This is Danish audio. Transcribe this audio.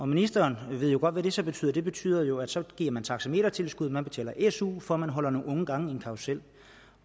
ministeren ved jo godt hvad det så betyder det betyder jo at så giver man taxametertilskud og man betaler su for at holde nogle unge gange i en karrusel